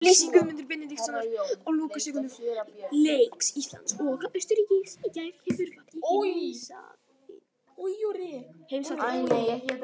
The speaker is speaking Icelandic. Lýsing Guðmundar Benediktssonar á lokasekúndum leiks Íslands og Austurríkis í gær hefur vakið heimsathygli.